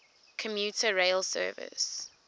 commuter rail service